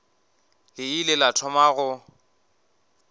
le ile la thoma go